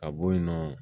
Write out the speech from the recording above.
Ka bɔ yen nɔ